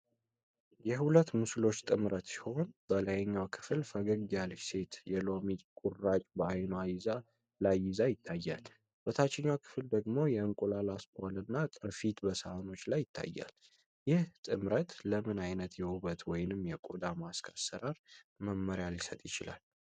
የሁለት ምስሎች ጥምረት ሲሆን፣ በላይኛው ክፍል ፈገግ ያለች ሴት የሎሚ ቁራጭ በዓይኗ ላይ ይዛ ይታያል። በታችኛው ክፍል ደግሞ የእንቁላል አስኳልና ቅርፊት በሳህኖች ላይ ይታያል። ይህ ጥምረት ለምን ዓይነት የውበት ወይም የቆዳ ማስክ አሰራር መመሪያ ሊሰጥ ይችላል?